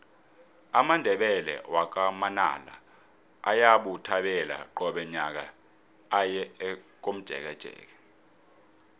amandebele wakwa manala ayabuthelana qobe nyaka aye komjekejeke